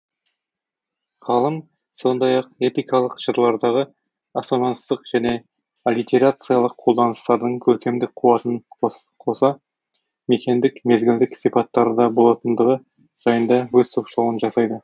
ғалым сондай ақ эпикалық жырлардағы ассонанстық және аллитерациялық қолданыстардың көркемдік қуатына қоса мекендік мезгілдік сипаттары да болатындығы жайында өз топшылауын жасайды